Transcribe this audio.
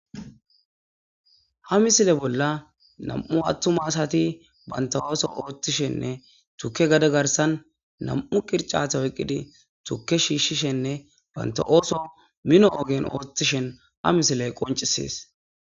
Ha misile bolla nam'u atuma asat banta ootho othishenne banta gade garsan 2 qiricate oykid tuke shiishishenne banta ootho mino ogen othishn ha misiley qoncises.